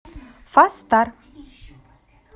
фастар